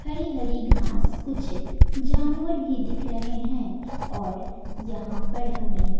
हरी हरी घास कुछ जानवर भी दिख रहे हैं और यहां पड़ हमें--